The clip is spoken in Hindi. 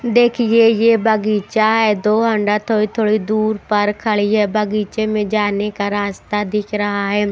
देखिए ये बगीचा है दो हंडा थोड़ी-थोड़ी दूर पर खड़ी है बगीचे में जाने का रास्ता दिख रहा है।